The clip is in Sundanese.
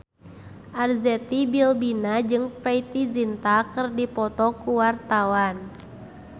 Arzetti Bilbina jeung Preity Zinta keur dipoto ku wartawan